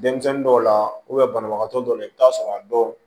Denmisɛnnin dɔw la banabagatɔ dɔw la i bɛ taa sɔrɔ a dɔw